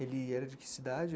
Ele era de que cidade?